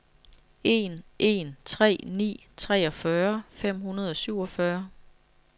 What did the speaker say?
en en tre ni treogfyrre fem hundrede og syvogfyrre